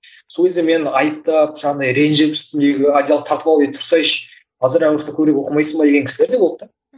сол кезде мені айыптап жаңағыдай ренжіп үстімдегі одеялды тартып алып ей тұрсайшы қазір оқымайсың ба деген кісілер де болды да